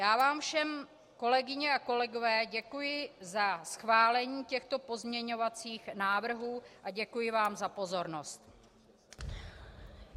Já vám všem, kolegyně a kolegové, děkuji za schválení těchto pozměňovacích návrhů a děkuji vám za pozornost.